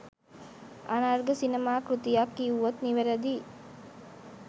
අනර්ඝ සිනමා කෘතියක් කිව්වොත් නිවැරදියි